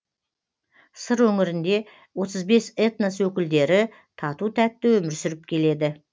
сыр өңірінде отыз бес этнос өкілдері тату тәтті өмір сүріп келеді